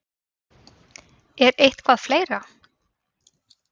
Er eitthvað fleira?